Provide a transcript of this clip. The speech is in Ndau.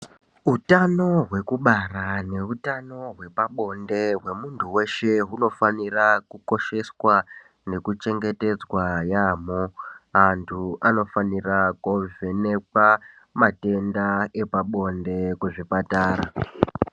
Utano hwekubara neutano hwepabonde hwemuntu weshe hunofanira kukosheswa nekuchengetedzwa yaamho. Antu anofanira koovhenekwa matenda epabonde kuzvipatara.